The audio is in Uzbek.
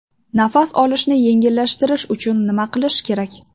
Nafas olishni yengillashtirish uchun nima qilish kerak?